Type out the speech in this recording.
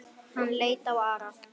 Hann leit á Ara.